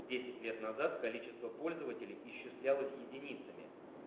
десять лет назад количество пользователей исчислялось единицами